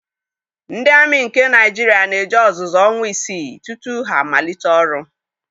Ndị amị nke Naịjirịa na-eje ọzụzụ ọnwa isii tutu ha malite ọrụ.